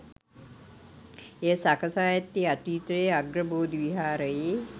එය සකසා ඇත්තේ අතීතයේ අග්‍රබෝධි විහාරයේ